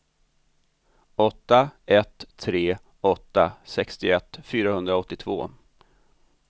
åtta ett tre åtta sextioett fyrahundraåttiotvå